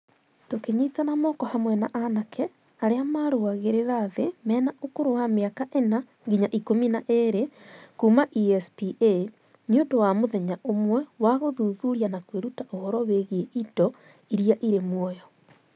Tũkĩnyitana moko hamwe na anake arĩa marũagĩrĩra thĩ mena ũkũrũ wa mĩaka 4-12 kuuma ESPA, nĩ ũndũ wa mũthenya ũmwe wa gũthuthuria na kwĩruta ũhoro wĩgiĩ indo iria irĩ muoyo.